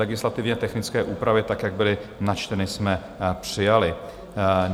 Legislativně technické úpravy tak, jak byly načteny, jsme přijali.